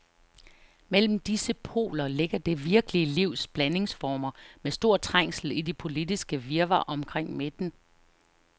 Mellem disse poler ligger det virkelige livs blandingsformer, med stor trængsel i det politiske virvar omkring midten.